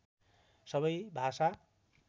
सबै भाषा